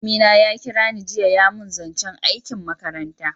Malami na ya kira ni jiya ya mun zancen aikin makaranta